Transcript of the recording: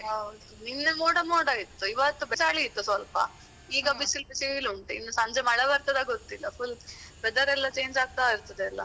ಹೌದು ಹೌದು. ನಿನ್ನೆ ಮೋಡ ಮೋಡ ಇತ್ತು ಇವತ್ತು ಚಳಿ ಇತ್ತು ಸ್ವಲ್ಪ. ಈಗ ಬಿಸಿಲ್ ಬಿಸಿಲುಂಟು ಇನ್ನು ಸಂಜೆ ಮಳೆ ಬರ್ತದಾ ಗೊತ್ತಿಲ್ಲ. Full weather ಎಲ್ಲ change ಆಗ್ತಾ ಇರ್ತದಲ್ಲ.